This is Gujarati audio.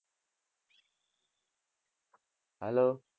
Hello